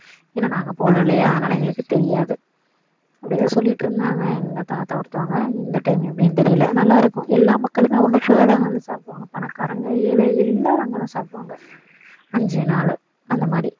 ஏன்னா நாங்க போல இல்லையா அதனால எங்களுக்கு தெரியாது அப்படி தான் சொல்லிட்டு இருந்தாங்க எங்க தாத்தா ஒருத்தவங்க இந்த time எப்படின்ன்னு தெரியல நல்லா இருக்கும் எல்லா மக்களுமே ஒண்ணு சேர அங்க வந்து சாப்பிடுவாங்க பணக்காரங்க ஏழை எல்லாருமே அங்க தான் சாப்பிடுவங்க அஞ்சு நாளு அந்த மாதிரி